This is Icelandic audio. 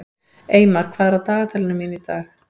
Eymar, hvað er á dagatalinu mínu í dag?